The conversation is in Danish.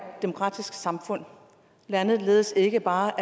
demokratisk samfund landet ledes ikke bare